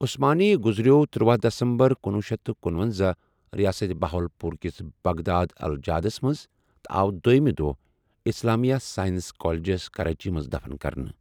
عثمانی گزریو تٔرۄَہ دَسَمبَر کنۄہ شیتھ کنُۄنزہَ رِیاسَتھ بہاوالپور کِس بغداد الجادس مَنٛز تہٕ آو دوٚیٛمہِ دۄہ اسلامیا ساینس کالیٚجس کراچی مَنٛز دَفَن کرنہٕ۔